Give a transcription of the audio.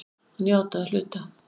Hann játaði að hluta